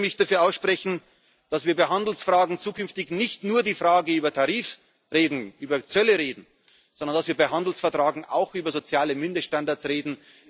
wird. Ich würde mich dafür aussprechen, dass wir bei Handelsfragen zukünftig nicht nur über Tarife oder über Zölle reden, sondern dass wir bei Handelsverträgen auch über soziale Mindeststandards